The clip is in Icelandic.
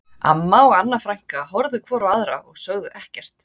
Amma og Anna frænka horfðu hvor á aðra og sögðu ekkert